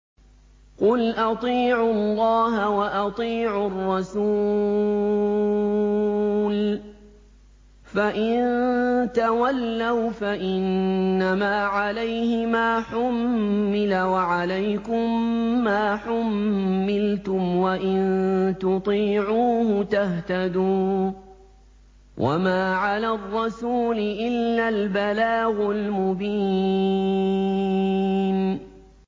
قُلْ أَطِيعُوا اللَّهَ وَأَطِيعُوا الرَّسُولَ ۖ فَإِن تَوَلَّوْا فَإِنَّمَا عَلَيْهِ مَا حُمِّلَ وَعَلَيْكُم مَّا حُمِّلْتُمْ ۖ وَإِن تُطِيعُوهُ تَهْتَدُوا ۚ وَمَا عَلَى الرَّسُولِ إِلَّا الْبَلَاغُ الْمُبِينُ